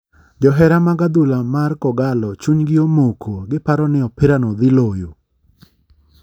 Johera mag adhula mar kogallo chuny gi omoko giparo ni opira no dhi loyo.